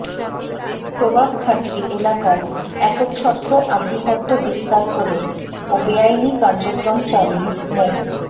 প্রভাব খাটিয়ে এলাকায় একচ্ছত্র আধিপত্য বিস্তার করে ও বেআইনি কার্যক্রম চালিয়ে মো